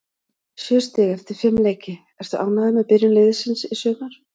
Sjö stig eftir fimm leiki, ertu ánægður með byrjun liðsins í sumar?